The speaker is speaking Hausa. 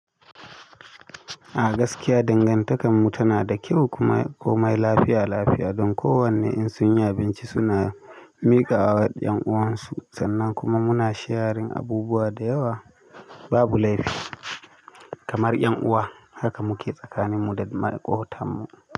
A gaskiya dangantakarmu tana da kyau kuma komai lafiya-lafiya. Don kowane in sun yi abinci suna miƙa wa 'yan uwansu sannan kuma muna sharing abubuwa da yawa babu laifi kamar 'yan uwa. Haka muke tsakanin mu da maƙotanmu.